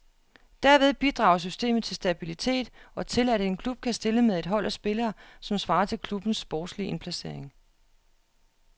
Derved bidrager systemet til stabilitet og til, at en klub kan stille med et hold af spillere, som svarer til klubbens sportslige indplacering.